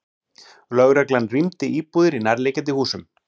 Lögreglan rýmdi íbúðir í nærliggjandi húsum